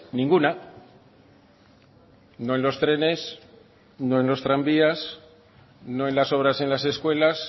ninguna no en los trenes no en los tranvías no en las obras en las escuelas